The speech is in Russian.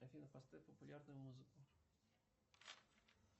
афина поставь популярную музыку